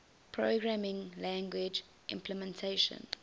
programming language implementation